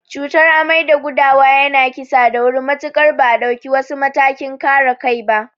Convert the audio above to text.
Cutar amai da gudawa yana kissa da wuri matuƙar ba a dauki wasu matakin kare kai ba.